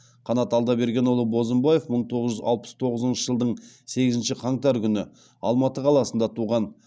қанат алдабергенұлы бозымбаев мың тоғыз жүз алпыс тоғызыншы жылдың сегізінші қаңтар күні алматы қаласында туған